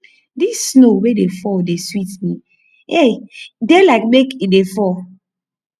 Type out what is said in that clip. dis snow wey dey fall dey sweet me eh dey like make e dey fall